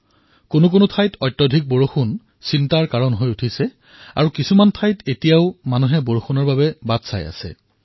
কোনো কোনো স্থানত অধিক বৰ্ষাৰ বাবে চিন্তাজনক খবৰো আহি আছে আৰু কোনো স্থানত মানুহে বৰ্ষাৰ প্ৰতীক্ষাও কৰি আছে